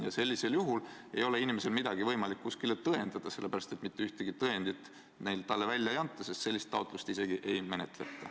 Ja sellisel juhul ei ole inimesel midagi võimalik kuskil tõendada, sellepärast et mitte ühtegi tõendit talle välja ei anta, sellist taotlust isegi ei menetleta.